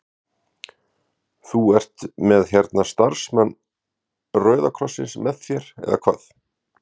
Þú ert með hérna starfsmann Rauða krossins með þér eða hvað?